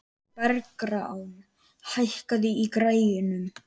Bergrán, hækkaðu í græjunum.